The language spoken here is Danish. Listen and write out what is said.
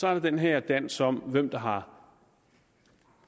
er der den her dans om hvem der har